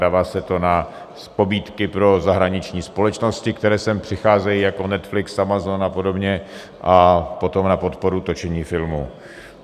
Dává se to na pobídky pro zahraniční společnosti, které sem přicházejí, jako Netflix, Amazon a podobně, a potom na podporu točení filmů.